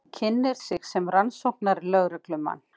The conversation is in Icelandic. Kynnir sig sem rannsóknarlögreglumann.